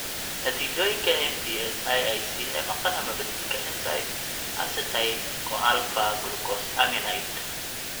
Natiijooyinka MPS IIIC ee maqan ama beddelka enzyme acetyl CoAlpha glucosaminide acetyltransferase.